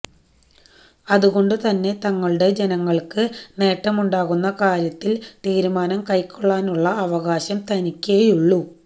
അതുകൊണ്ട് തന്നെ തങ്ങളുടെ ജനങ്ങള്ക്ക് നേട്ടമുണ്ടാകുന്ന കാര്യത്തില് തീരുമാനം കൈക്കൊള്ളാനുള്ള അവകാശം തങ്ങള്ക്കേയുള്ളൂ